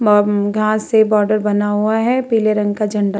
घास से बॉर्डर बना हुआ है पीले रंग का झंडा --